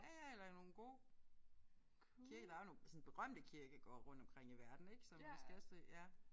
Ja ja eller nogle gode kirke der er jo nogle sådan berømte kirkegårde rundt omkring i verden ik som måske også ja